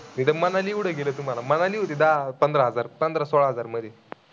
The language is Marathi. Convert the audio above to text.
इथं मनाली एवढं गेलं तुम्हांला, मानली होते दहा पंधरा हजार, पंधरा सोळा हजार मध्ये.